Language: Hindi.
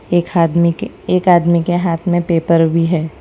एक आदमी के एक आदमी के हाथ में पेपर भी है।